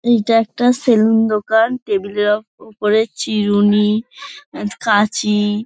এটা একটা সেলুন দোকান টেবিল -এর উপ উপরে চিরুনি কাঁচি।